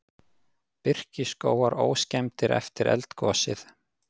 Birkiskógar óskemmdir eftir eldgosið